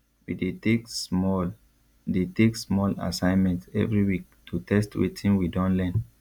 we dey take small dey take small assignment every week to test wetin we don learn